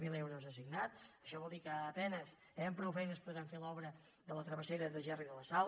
zero euros assignats això vol dir que a penes amb prou feines podran fer l’obra de la travessera de gerri de la sal